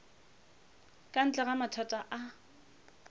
ka ntle ga maatla a